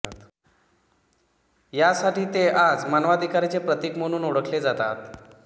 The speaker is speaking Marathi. यासाठी ते आज मानवाधिकाराचे प्रतीक म्हणून ओळखले जातात